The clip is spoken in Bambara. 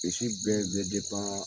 Sisi bɛɛ bɛ